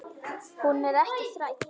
Hún er ekki þræll.